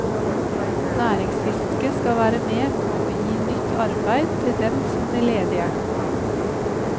Næringsfisket skal være med på å gi nytt arbeid til dem som blir ledige.